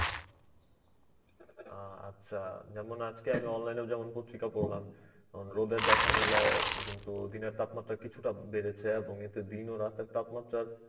অ্যাঁ আচ্ছা যেমন আজকে আমি online এও যেমন পত্রিকা পড়লাম. রোদের দেখা মেলায় কিন্তু দিনের তাপমাত্রা কিছুটা বেড়েছে এবং এতে দিন ও রাতের তাপমাত্রার